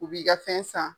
U b'i ka fɛn san